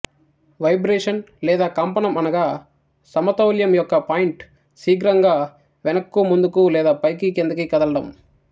vibration లేదా కంపనం అనగా సమతౌల్యం యొక్క పాయింట్ శీఘ్రంగా వెనక్కు ముందుకు లేదా పైకి క్రిందికి కదలటం